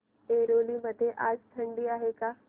ऐरोली मध्ये आज थंडी आहे का